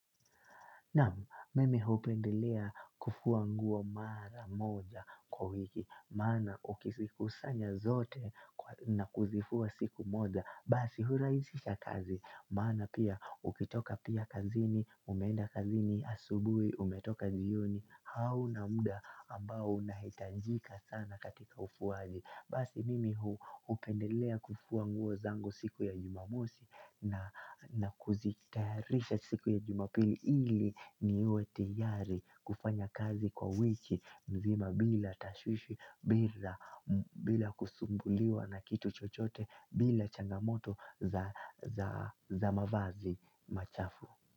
Naam, mime hupendelea kufua nguo mara moja kwa wiki, maana ukisikusanya zote na kuzifua siku moja, basi huraisisha kazi, maana pia ukitoka pia kazini, umenda kazini asubui, umetoka jioni, hauna muda ambao na unaitajika sana katika ufuazi. Basi mimi hupendelea kufua nguo zangu siku ya jumamosi na kuzitayarisha siku ya jumapili ili niwe tayari kufanya kazi kwa wiki mzima bila tashushi bila kusumbuliwa na kitu chochote bila changamoto za mavazi machafu.